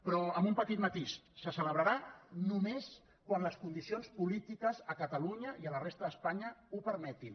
però amb un petit matís se celebrarà només quan les condicions polítiques a catalunya i a la resta d’espanya ho permetin